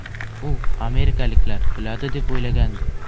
U amerikaliklar kuladi deb o‘ylagandi.